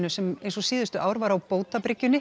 sem eins og síðustu ár var á